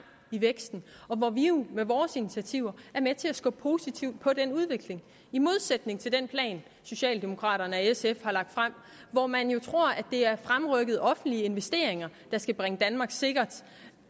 i væksten og vi er jo med vores initiativer med til at skubbe positivt på den udvikling i modsætning til den plan socialdemokraterne og sf har lagt frem hvor man jo tror at det er fremrykkede offentlige investeringer der skal bringe danmark sikkert